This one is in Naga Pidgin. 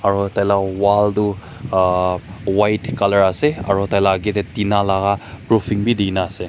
aru tai laga wall tu a a white colour ase aru tai laga age te tina laga drooping bhi de na ase.